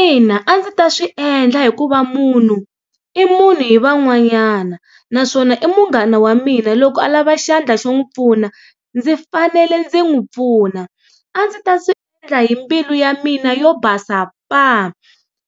Ina a ndzi ta swi endla hikuva munhu i munhu hi van'wanyana naswona i munghana wa mina loko a lava xandla xo n'wi pfuna ndzi fanele ndzi n'wi pfuna a ndzi ta swi endla hi mbilu ya mina yo basa paa,